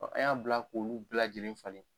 Ɔ an y'a bila k'olu bɛɛ lajɛlen falen